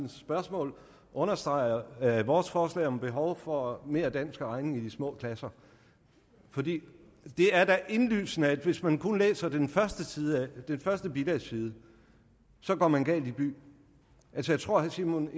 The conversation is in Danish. spørgsmål understreger vores forslag om behov for mere dansk og regning i de små klasser for det er da indlysende at hvis man kun læser den første bilagsside så går man galt i byen jeg tror at herre simon